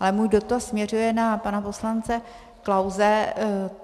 Ale můj dotaz směřuje na pana poslance Klause.